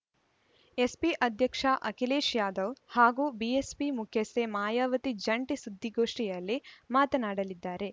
SP ಅಧ್ಯಕ್ಷ ಅಖಿಲೇಶ್‌ ಯಾದವ್‌ ಹಾಗೂ BSP ಮುಖ್ಯಸ್ಥೆ ಮಾಯಾವತಿ ಜಂಟಿ ಸುದ್ದಿಗೋಷ್ಠಿಯಲ್ಲಿ ಮಾತನಾಡಲಿದ್ದಾರೆ